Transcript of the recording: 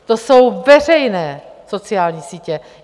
To jsou veřejné sociální sítě!